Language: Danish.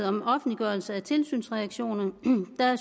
om offentliggørelse af tilsynsreaktioner